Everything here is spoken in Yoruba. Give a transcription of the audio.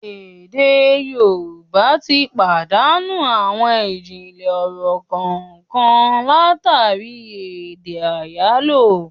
Èdè Yorùbá tí pàdánù àwọn ijinlẹ ọ̀rọ̀ kànkan látàri èdè àyálò